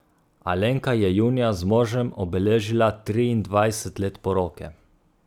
Alenka je junija z možem obeležila triindvajset let poroke.